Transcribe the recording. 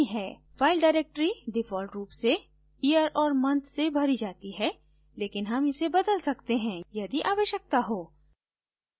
file directory default रूप से year और month में भरी जाती है लेकिन हम इसे बदल सकते हैं यदि आवश्यकता हो